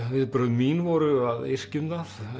viðbrögð mín voru að yrkja um það